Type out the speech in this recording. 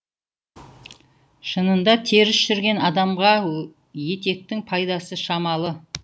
шынында теріс жүрген адамға етектің пайдасы шамалы